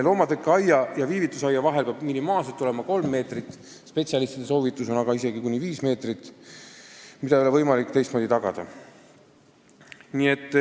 Loomatõkkeaia ja viivitusaia vahel peab minimaalselt olema 3 meetrit, spetsialistide soovitus on aga isegi kuni 5 meetrit.